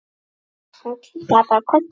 Hann kinkaði bara kolli.